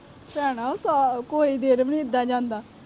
ਭੈੈਣਾਂ ਕੋਈ ਦਿਨ ਵੀ ਨੀ ਇਦਾਂ ਜਾਂਦਾ।